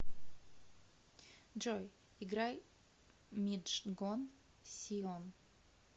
джой играй миджгон сион